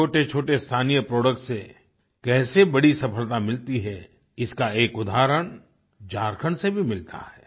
छोटेछोटे स्थानीय प्रोडक्ट्स से कैसे बड़ी सफलता मिलती है इसका एक उदहारण झारखंड से भी मिलता है